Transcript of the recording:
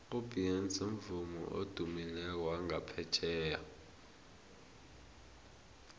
ubeyonce mvumi odumileko wangaphetjheya